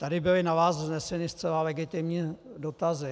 Tady byly na vás vzneseny zcela legitimní dotazy.